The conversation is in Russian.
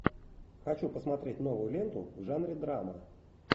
хочу посмотреть новую ленту в жанре драма